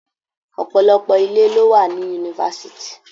Ọ̀pọ̀lọpọ̀ ilé ló wà ní Yunifásítì.